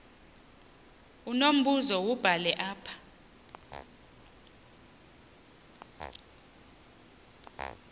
unombuzo wubhale apha